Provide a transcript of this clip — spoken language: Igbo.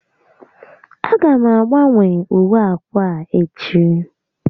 A ga m agbanwe uwe ákwà a echi